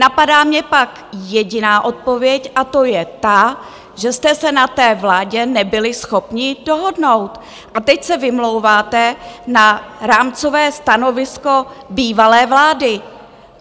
Napadá mě pak jediná odpověď, a to je ta, že jste se na té vládě nebyli schopni dohodnout, a teď se vymlouváte na rámcové stanovisko bývalé vlády.